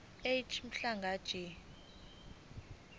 ej mhlanga jj